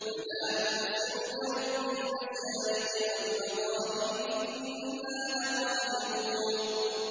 فَلَا أُقْسِمُ بِرَبِّ الْمَشَارِقِ وَالْمَغَارِبِ إِنَّا لَقَادِرُونَ